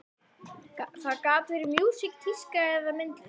Það gat verið músík, tíska eða myndlist.